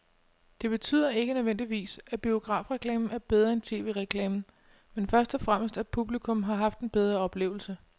Det betyder ikke nødvendigvis, at biografreklamen er bedre end tv-reklamen, men først og fremmest at publikum har haft en bedre oplevelse.